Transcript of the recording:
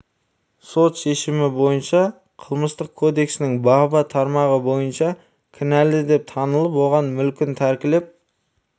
сот шемімі бойынша қылмыстық кодексінің бабы тармағы бабы тармағы бойынша кінәлі деп танылып оған мүлкін тәркілеп